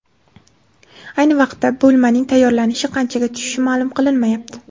Ayni vaqtda, bo‘lmaning tayyorlanishi qanchaga tushishi ma’lum qilinmayapti.